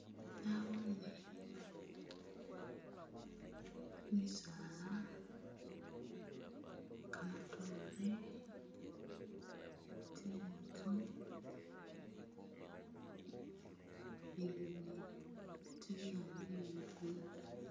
Naboone kimisaala, kamatoore, tsinzu, nibibi tsili ambi ni lukudo